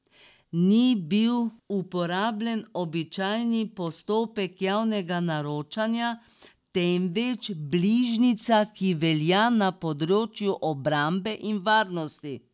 Ni bil uporabljen običajni postopek javnega naročanja, temveč bližnjica, ki velja na področju obrambe in varnosti.